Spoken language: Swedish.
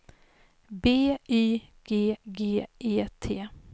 B Y G G E T